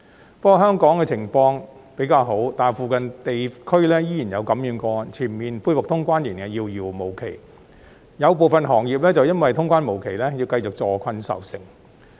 不過，雖然香港的情況比較好，但附近地區仍然有感染個案，全面恢復通關仍然遙遙無期，有部分行業就因為通關無期而要繼續坐困愁城。